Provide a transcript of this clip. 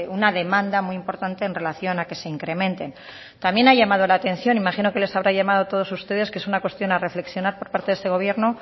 una demanda muy importante en relación a que se incrementen también ha llamado la atención imagino que les habrá llamado a todos ustedes que es una cuestión a reflexionar por parte de este gobierno